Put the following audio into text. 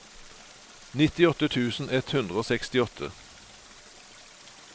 nittiåtte tusen ett hundre og sekstiåtte